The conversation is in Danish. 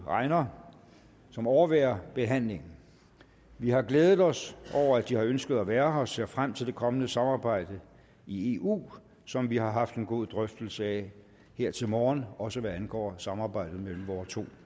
reiner som overværer behandlingen vi har glædet os over at de har ønsket at være her og ser frem til det kommende samarbejde i eu som vi har haft en god drøftelse af her til morgen også hvad angår samarbejdet mellem vore to